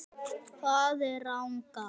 Hvar er Ragnar?